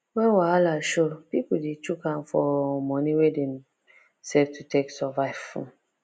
when wahala show people dey shook hand for moni wey dem save to take survive um